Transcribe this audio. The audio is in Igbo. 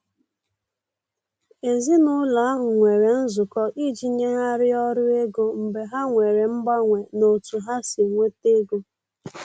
Èzìnàụlọ ahụ nwere nzụkọ iji nyèghariá ọrụ ego mgbe ha nwere mganwe n' ọ̀tu ha si enweta ègò.